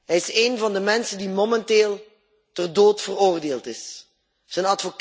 Hij is één van de mensen die momenteel ter dood veroordeeld zijn.